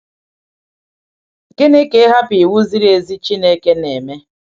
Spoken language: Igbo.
Gịnị ka ịhapụ iwu ziri ezi Chineke na-eme?